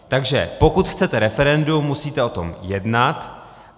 Takže pokud chcete referendum, musíte o tom jednat.